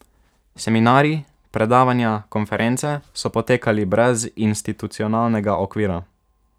Seminarji, predavanja, konference so potekali brez institucionalnega okvira.